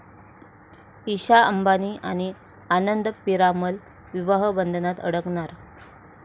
ईशा अंबानी आणि आनंद पिरामल विवाह बंधनात अडकणार!